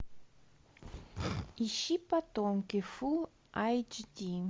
ищи потомки фулл айч ди